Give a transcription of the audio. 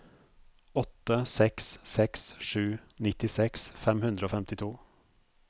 åtte seks seks sju nittiseks fem hundre og femtito